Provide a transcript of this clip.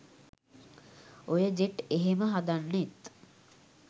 ඔය ජෙට් එහෙම හදන්නෙත්